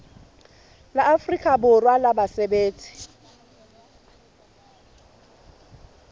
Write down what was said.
la afrika borwa la basebetsi